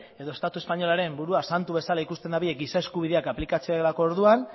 edo estatu espainolaren burua santu bezala ikusten dute giza eskubideak aplikatzerako orduan